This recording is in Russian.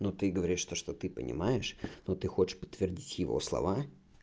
ну ты говоришь то что ты понимаешь но ты хочешь подтвердить его слова